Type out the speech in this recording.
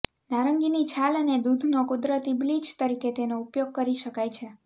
નારંગીની છાલ અને દૂધનો કુદરતી બ્લીચ તરીકે તેનો ઉપયોગ કરી શકાય છે